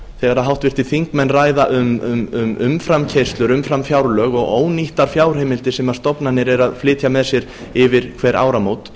þegar háttvirtir þingmenn ræða um umframkeyrslur umframfjárlög og ónýttar fjárheimildir sem stofnanir eru að flytja með sér yfir hver áramót